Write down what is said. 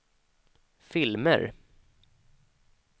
filmer